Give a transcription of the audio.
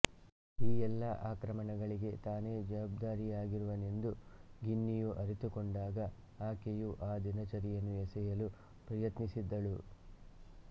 ಈ ಎಲ್ಲಾ ಆಕ್ರಮಣಗಳಿಗೆ ತಾನೇ ಜವಾಬ್ದಾರಿಯಾಗಿರುವನೆಂದು ಗಿನ್ನಿಯು ಅರಿತುಕೊಂಡಾಗ ಆಕೆಯು ಆ ದಿನಚರಿಯನ್ನು ಎಸೆಯಲು ಪ್ರಯತ್ನಿಸಿದ್ದಳು